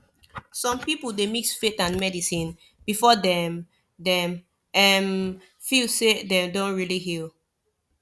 some people dey mix faith and medicine before dem dem um feel say dem don really heal